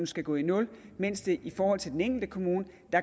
skal gå i nul mens der i forhold til den enkelte kommune